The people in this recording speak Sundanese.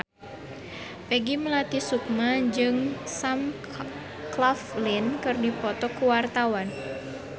Peggy Melati Sukma jeung Sam Claflin keur dipoto ku wartawan